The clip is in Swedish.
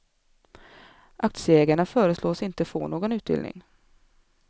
Aktieägarna föreslås inte få någon utdelning.